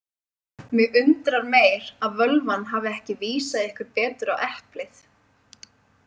Mig undrar meir að völvan hafi ekki vísað ykkur betur á eplið.